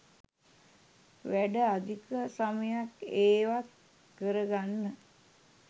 වැඩ අධික සමයක් ඒවත් කරගන්න